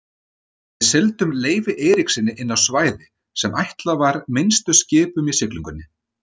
Við sigldum Leifi Eiríkssyni inná svæði sem ætlað var minnstu skipum í siglingunni.